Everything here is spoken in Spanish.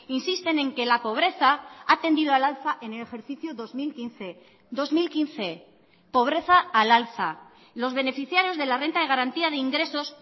insisten en que la pobreza a tendido al alza en el ejercicio dos mil quince dos mil quince pobreza al alza los beneficiarios de la renta de garantía de ingresos